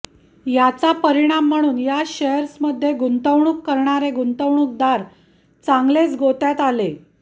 याचा परिणाम म्हणून या शेअर्समध्ये गुंतवणूक करणारे गुंतवणूकदार चांगलेच गोत्यात आले